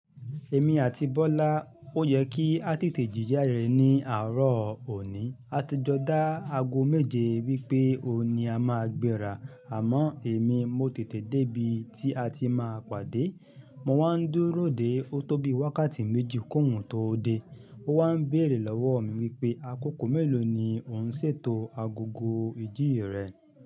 Èmi àti Bọ́lá, ó yẹ kí a tètè jí jáde ní àárọ̀ òní. A ti jọ dá ago méje wípé òní a máa gbéra, àmọ́ èmi mo tètè dé bi tí a ti máa pàdé. Mo wá ń dúró dè ó tó bí wákàtí méjì k'ohun tó dé. Ó wá ń béèrè lọ́wọ́ mi wípé àkókò mélòó ni ò ń ṣètò agogo ìjì rẹ.